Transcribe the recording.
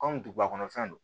Kɔmi duguba kɔnɔ fɛn don